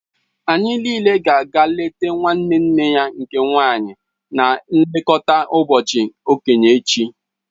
Anyị niile ga-aga eleta nwanne nne ya nke nwaanyị na nlekọta ụbọchị okenye echi